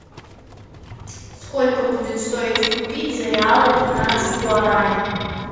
сколько будет стоить купить за реалы пятнадцать гуараней